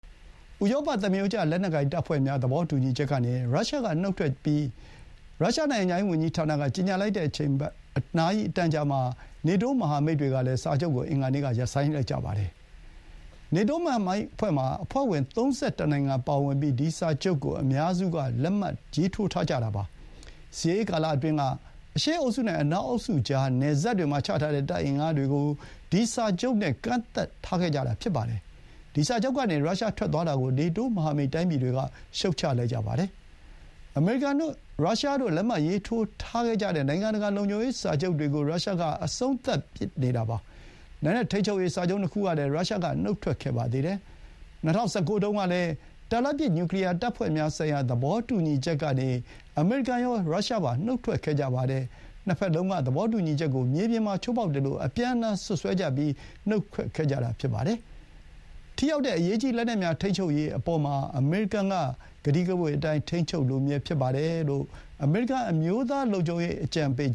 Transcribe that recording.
ဥရောပသမားရိုးကျ လက်နက်ကိုင်တပ်ဖွဲ့များ သဘောတူညီချက်ကနေ ရုရှားက နုတ်ထွက်ကြောင်း ရုရှားနိုင်ငံခြားရေးဝန်ကြီးဌာနက ကြေညာပြီး နာရီအတန်ကြာမှာ နေတိုးမဟာမိတ်တွေကလည်း စာချုပ်မှာပါဝင်နေတာကို အင်္ဂါနေ့က ရပ်ဆိုင်းလိုက်ကြပါတယ်။ နေတိုးမဟာမိတ်အဖွဲ့မှာ အဖွဲ့ဝင် ၃၁ နိုင်ငံပါဝင်ပြီး ဒီစာချုပ်ကို အများစုက လက်မှတ်ထိုးထားကြတာပါ။ စစ်အေးကာလအတွင်း အရှေ့အုပ်စုနဲ့ အနောက်အုပ်စုကြား နယ်စပ်တွေမှာချထားတဲ့ တပ်အင်အားတွေကို ဒီစာချုပ်နဲ့ ကန့်သတ်ထားခဲ့ကြတာဖြစ်ပါတယ်။ ဒီစာချုပ်ကနေ ရုရှား ထွက်သွားတာ ကို နေတိုး မဟာမိတ်တိုင်းပြည်တွေက ရှုတ်ချလိုက်ကြပါတယ်။ အမေရိကန်နဲ့ရုရှားတို့ လက်မှတ်ရေးထိုးထားခဲ့ကြတဲ့ နိုင်ငံတကာ လုံခြုံရေးစာချုပ်တွေကို ရုရှားက အဆုံးသတ်ပစ်နေတာပါ။ လက်နက်ထိန်းချုပ်ရေး စာချုပ် ၂ ခုကလည်း ရုရှားက နုတ်ထွက်ခဲ့ပါသေးတယ်။ ၂၀၁၉ တုန်းကလည်း တာလတ်ပစ် နျူကလီယာတပ်ဖွဲ့များဆိုင်ရာ သဘောတူညီချက်ကနေ အမေရိကန်ရော၊ ရုရှားပါ နုတ်ထွက်ခဲ့ကြပါတယ်။ နှစ်ဘက်လုံးက သဘောတူညီချက်ကို မြေပြင်မှာ ချိုးဖောက်တယ်လို့ အပြန်အလှန်စွပ်စွဲကြပြီး နုတ်ထွက်ခဲ့ကြတာဖြစ်ပါတယ်။ ထိရောက်တဲ့ အရေးကြီးလက်နက်များ ထိန်းချုပ်ရေးအပေါ်မှာ အမေရိကန်က ကတိကဝတ်အတိုင်း ထိန်းချုပ်လိုမြဲဖြစ်တယ်လို့ အမေရိကန် အမျိုးသားလုံခြုံရေး အကြံပေး